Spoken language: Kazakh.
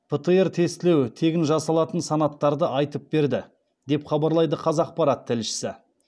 птр тестілеу тегін жасалатын санаттарды айтып берді деп хабарлайды қазақпарат тілшісі